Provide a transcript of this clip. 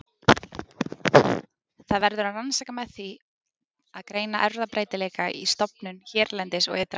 Það verður að rannsaka með því að greina erfðabreytileika í stofnum hérlendis og ytra.